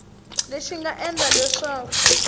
lexi xi nga endla leswaku